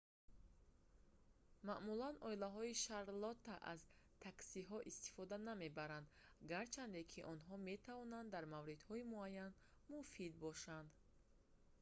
маъмулан оилаҳои шарлотта аз таксиҳо истифода намебаранд гарчанде ки онҳо метавонанд дар мавридҳои муайян муфид бошанд